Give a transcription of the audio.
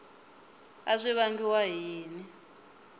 a swi vangiwa hi yini